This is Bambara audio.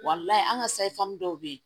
an ka dɔw bɛ yen